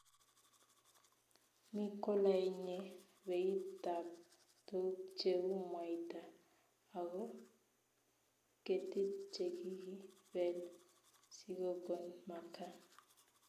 Mi kolanye beit tab tuguk cheu mwaita ago ketik chekikibeel sigogon makaa ---